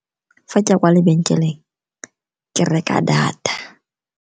Fa ke ya kwa lebenkeleng ke reka data.